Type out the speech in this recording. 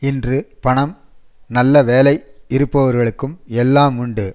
இன்று பணம் நல்ல வேலை இருப்பவர்களுக்கு எல்லாம் உண்டு